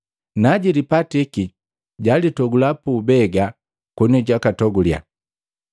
Najilipatiki, jalitogula puubega koni jutogule,